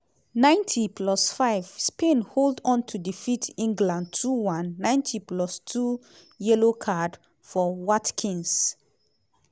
90+5 -spain hold on to defeat england 2-1. 90+2 - yellow card for watkins.